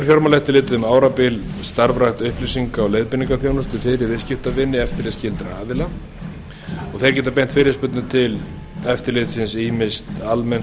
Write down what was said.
fjármálaeftirlitið um árabil starfrækt upplýsinga og leiðbeiningaþjónustu fyrir viðskiptavini eftirlitsskyldra aðila þeir geta beint fyrirspurnum til eftirlitsins ýmist almenns